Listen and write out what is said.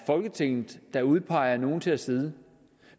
folketinget der udpeger nogle til at sidde